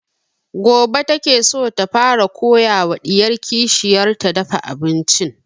Gobe ta ke so ta fara koya wa ɗiyar kishiyar ta dafa abincin